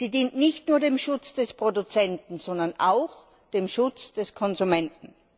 Sie dient nicht nur dem Schutz des Produzenten, sondern auch dem Schutz des Konsumenten.